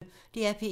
DR P1